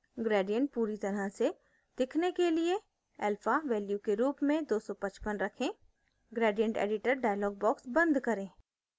gradient पूरी तरह से दिखने के लिए alpha value के रूप में 255 रखें gradient editor dialog box बंद करें